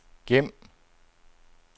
gem